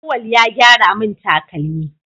Auwal ya gyara mun takalmi